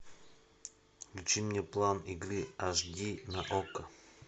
включи мне план игры аш ди на окко